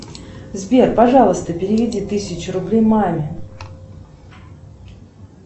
сбер пожалуйста переведи тысячу рублей маме